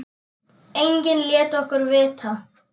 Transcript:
Enginn lét okkur vita.